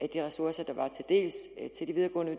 de ressourcer